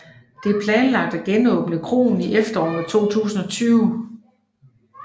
Det er planlagt at genåbne kroen i efteråret 2020